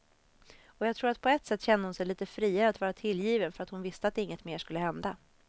Och jag tror att på ett sätt kände hon sig lite friare att vara tillgiven för att hon visste att inget mer skulle hända.